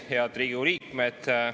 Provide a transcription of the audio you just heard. Head Riigikogu liikmed!